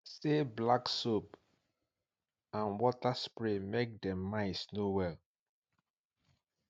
se black soap and water spray make dem mites no well